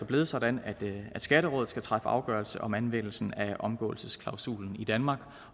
blevet sådan at skatterådet skal træffe afgørelse om anvendelsen af omgåelsesklausulen i danmark